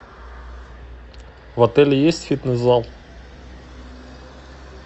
в отеле есть фитнес зал